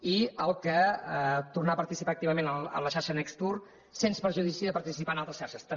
i tornar a participar activament en la xarxa necstour sens perjudici de participar en altres xarxes també